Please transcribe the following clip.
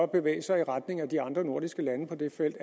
bevæge sig i retning af de andre nordiske lande på det felt